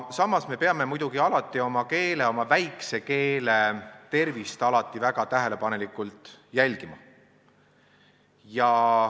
Muidugi peame me oma keele, oma väikese keele tervist väga tähelepanelikult jälgima.